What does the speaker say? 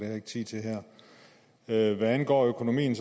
jeg ikke tid til her hvad angår økonomien